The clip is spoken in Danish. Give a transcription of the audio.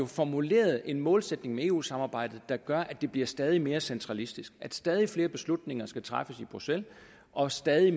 formuleret en målsætning med eu samarbejdet der gør at det bliver stadig mere centralistisk at stadig flere beslutninger skal træffes i bruxelles og stadig